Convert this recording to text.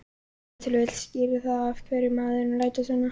Ef til vill skýrir það af hverju maðurinn lætur svona.